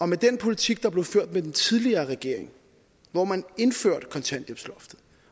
med den politik der blev ført af den tidligere regering hvor man indførte kontanthjælpsloftet